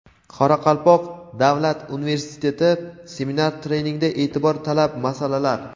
Qoraqalpoq davlat universiteti: seminar-treningda e’tibor talab masalalar.